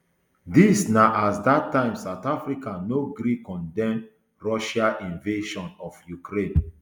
dis na as at dat time south africa no gree condemn russia invasion of ukraine